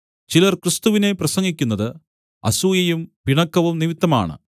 ചിലർ ക്രിസ്തുവിനെ പ്രസംഗിക്കുന്നത് അസൂയയും പിണക്കവും നിമിത്തമാണ്